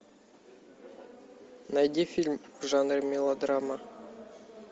найди фильм в жанре мелодрама